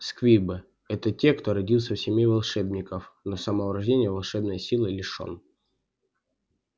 сквибы это те кто родился в семье волшебников но с самого рождения волшебной силы лишён